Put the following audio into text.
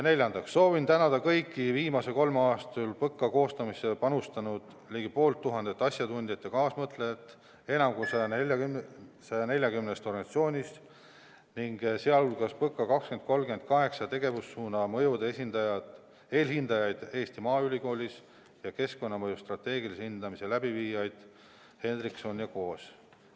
Neljandaks: soovin tänada kõiki viimase kolme aasta jooksul PõKa koostamisse panustanud ligi poolt tuhandet asjatundjat ja kaasmõtlejat enam kui 150 organisatsioonist, sh PõKa 2030 kaheksa tegevussuuna mõjude eelhindajaid Eesti Maaülikoolist ja keskkonnamõju strateegilise hindamise läbiviijaid Hendrikson & Ko'st.